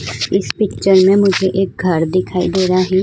इस पिक्चर में मुझे एक घर दिखाई दे रहा है।